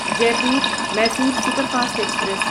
Jaipur Mysore superfast express